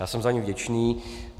Já jsem za ni vděčný.